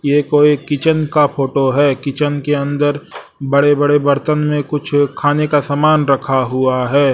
ये कोई किचन का फोटो है किचन के अंदर बड़े बड़े बर्तन में कुछ खाने का सामान रखा हुआ हैं।